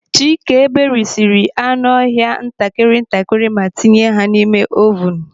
Chike berisiri anụ ọhịa ntakịrị ntakịrị ma tinye ha n'ime ovunu.